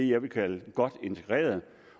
jeg vil kalde godt integreret